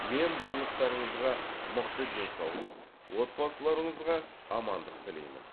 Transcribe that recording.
мен барлықтарыңызға мықты денсаулық отбасыларыңызға амандық тілеймін